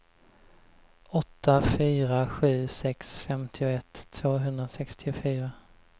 åtta fyra sju sex femtioett tvåhundrasextiofyra